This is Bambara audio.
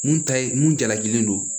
Mun ta ye mun jalakilen don